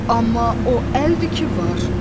Amma o əldir ki var.